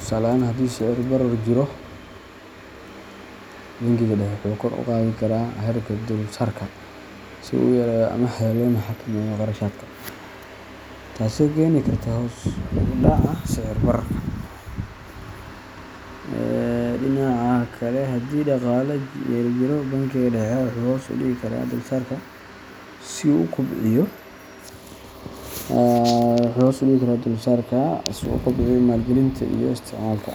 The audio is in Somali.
Tusaale ahaan, haddii sicir-barar jiro, bangiga dhexe wuxuu kor u qaadi karaa heerka dulsaarka si uu u yareeyo amaahda loona xakameeyo kharashaadka, taasoo keeni karta hoos u dhaca sicir-bararka. Dhinaca kale, haddii dhaqaale yari jiro, bangiga dhexe wuxuu hoos u dhigi karaa dulsaarka si uu u kobciyo maalgelinta iyo isticmaalka.